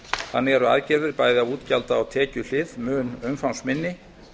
þannig er aðgerðum bæði á útgjalda og tekjuhlið mun umfangsminni